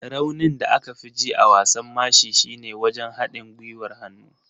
Raunin da aka fi ji a wasan mashi shine wajen haɗin gwiwar hannu.